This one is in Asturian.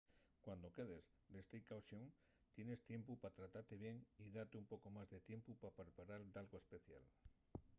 cuando quedes de staycation” tienes tiempu pa tratate bien y date un poco más de tiempu pa preparar dalgo especial